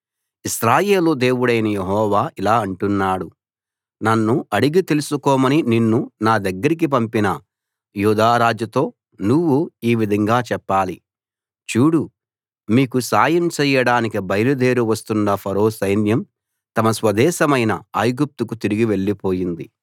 ఇశ్రాయేలు దేవుడైన యెహోవా ఇలా అంటున్నాడు నన్ను అడిగి తెలుసుకోమని నిన్ను నా దగ్గరికి పంపిన యూదా రాజుతో నువ్వు ఈ విధంగా చెప్పాలి చూడు మీకు సాయం చెయ్యడానికి బయలుదేరి వస్తున్న ఫరో సైన్యం తమ స్వదేశమైన ఐగుప్తుకు తిరిగి వెళ్ళిపోయింది